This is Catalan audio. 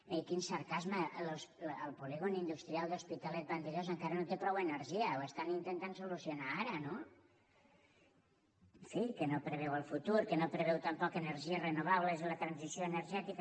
miri quin sarcasme el polígon industrial d’hospitalet vandellòs encara no té prou energia ho estan intentant resoldre ara no en fi que no preveu el futur que no preveu tampoc energies renovables i la transició energètica